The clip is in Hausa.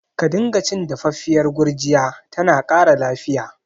Ka dinga cin dafaffiyar gurjiya, tana ƙara lafiya